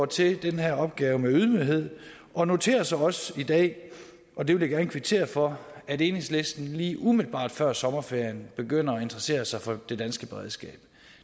til den her opgave med ydmyghed og noterer os også i dag og det vil jeg gerne kvittere for at enhedslisten lige umiddelbart før sommerferien begynder at interessere sig for det danske beredskab